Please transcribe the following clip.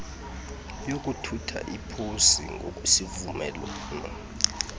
yokuthutha iposi ngokwezivumelwano